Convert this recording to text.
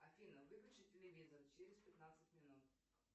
афина выключи телевизор через пятнадцать минут